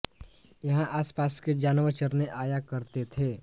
यहां आसपास के जानवर चरने आया करते थे